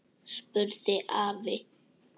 spurði afi.